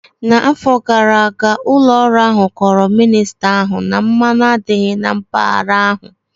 N'afọ gara aga, ụlọ ọrụ ahụ kọọrọ minista ahụ na mmanụ adịghị na mpaghara ahụ